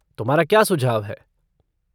तुम्हारा क्या सुझाव है?